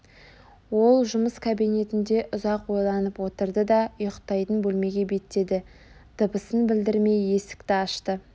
ол жұмыс кабинетінде ұзақ ойланып отырды да ұйықтайтын бөлмеге беттеді дыбысын білдірмей есікті ашты